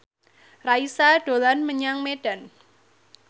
Raisa dolan menyang Medan